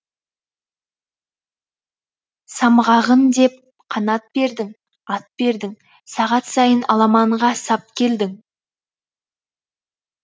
самғағын деп қанат бердің ат бердің сағат сайын аламанға сап келдің